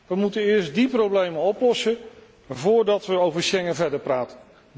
We moeten eerst die problemen oplossen, voordat we over Schengen verder praten.